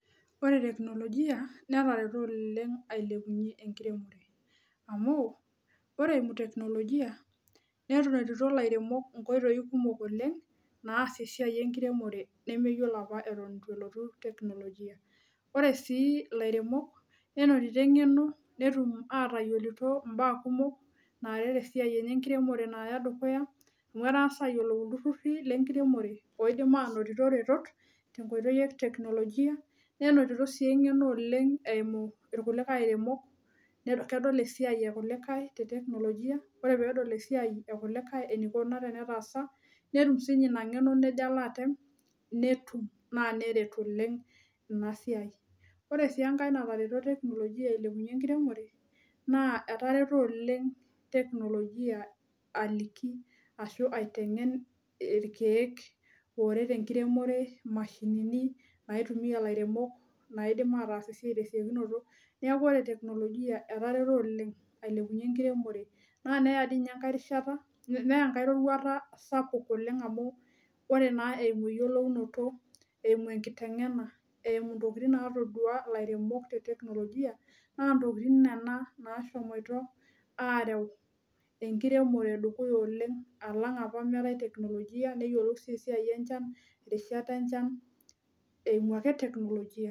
ore teknologia netareto oleng, eimu enkiremore, amu ore eimu teknologia, nntito ilairemok inkoitoi kumok oleng, naasie esiai enkiremore, nemyiolo apa eton eitu elotu, tenologia ore sii ilairemok, nenotito eng'eno netum aatayiolo mbaa kumok, naaret esaiai enye enkiremore naaya dukuya. amu etang'asa aayiolou iltururi lenkiremore,,oidim aanotito retot, tenkoitoi e teknolojia, nenotito sii engeno oleng' eimu irkulikae aeremok, kedol esiai ekulikae, te teknologia ore pee edol esiai ekulikae enikuna tenetaasa. netum sii ninye ina ng'eno nejo alo atem, netum naa neret oleng ina siai, ore siii enkae natareto tekknologia ailepunye enkiremore naa etareto oleng teknologia aliki, ashu aiteng'en irkeek, ooret enkiremore, imashinini, oolairemok, naidim ataas esiai neeku ore teknolojiavetareto oleng, ailepunye enkiremore. naa neya dii ninye enkae rishata. neya enkae roruata sapuk oleng amu, ore naa eimu eyiolounoto, eimu enkiteng'ena, eimu ntokitin natoduaa, ilairemok te teknologia naa ntokitin nena, naashomoito aareu enkiremore, dukuya oleng alang apa, meetaae teknologia neyiolou sii esiai enchan, irishat enchan eimu ake teknologia.